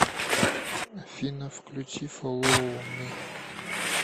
афина включи фоллоу ми